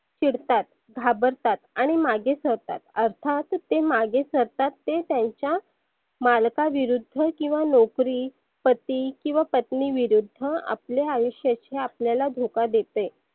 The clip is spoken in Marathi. चिडतात घाबरतात. आणि मागे सरतात अर्थात ते मागे सरतात ते त्याच्या मालका विरुद्ध किंवा नोकरी, पती किंवा पत्नी विरुद्ध हं आपले आयुष्या आपल्याला धोका देतय.